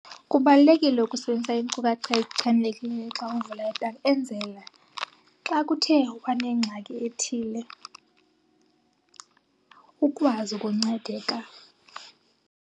Kubalulekile ukusebenzisa iinkcukacha ezichanekileyo xa uvula ibhanki enzela xa kuthe wanengxaki ethile ukwazi ukuncedeka.